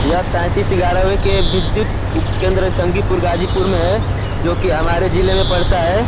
यह तैतीस ग्यारह के विधुत उपकेन्द्र जंगीपुर गाजीपुर में है जो कि हमारे जिले में पड़ता है।